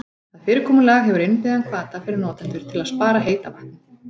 Það fyrirkomulag hefur innbyggðan hvata fyrir notendur til að spara heita vatnið.